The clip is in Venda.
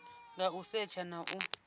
nga u setsha na u